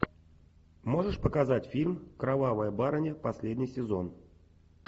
можешь показать фильм кровавая барыня последний сезон